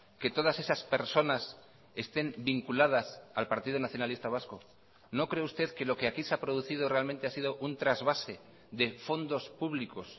que todas esas personas estén vinculadas al partido nacionalista vasco no cree usted que lo que aquí se ha producido realmente ha sido un trasvase de fondos públicos